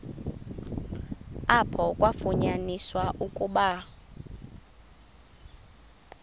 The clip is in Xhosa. apho kwafunyaniswa ukuba